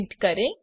print કરે